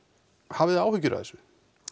hafið þið áhyggjur af þessu